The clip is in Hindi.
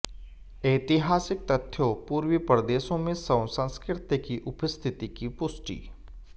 ऐतिहासिक तथ्यों पूर्वी प्रदेशों में शव संस्कृति की उपस्थिति की पुष्टि